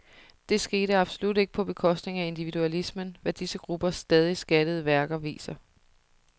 Det skete absolut ikke på bekostning af individualismen, hvad disse gruppers stadig skattede værker viser.